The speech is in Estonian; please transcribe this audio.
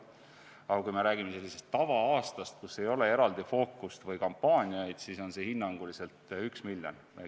Aga kui me räägime tava-aastast, kus ei ole eraldi fookust või kampaaniaid, siis on see hinnanguliselt 1 miljon.